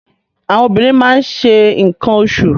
Àwọn obìnrin máa ṣe nǹkan oṣù